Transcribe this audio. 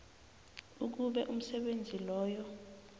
ukube umsebenzi loyo